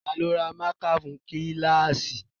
Ta ló ra mákà fún kíláàsì?